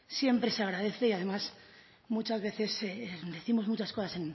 siempre se agradece y además muchas veces décimos muchas cosas